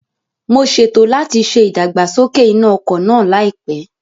Mo ṣètò láti ṣe ìdàgbàsókè iná ọkọ̀ náà láìpẹ́